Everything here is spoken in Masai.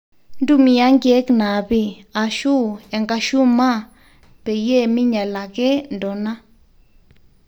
ntumia nkiek naapi, ashu enkashumaa peyie minyal ake ntona